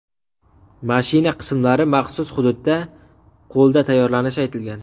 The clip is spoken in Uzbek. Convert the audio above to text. Mashina qismlari maxsus hududda qo‘lda tayyorlanishi aytilgan.